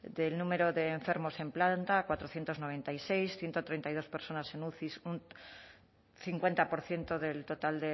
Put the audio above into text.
del número de enfermos en planta cuatrocientos noventa y seis ciento treinta y dos personas en uci un cincuenta por ciento del total